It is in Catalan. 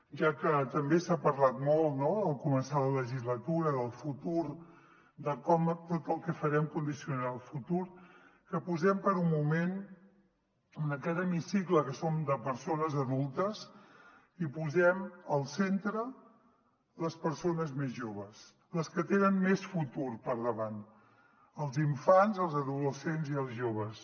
ja que també s’ha parlat molt no al començar la legislatura del futur de com tot el que farem condicionarà el futur que posem per un moment en aquest hemicicle que som de persones adultes hi posem al centre les persones més joves les que tenen més futur per davant els infants els adolescents i els joves